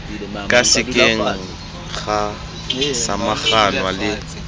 ka sekeng ga samaganwa le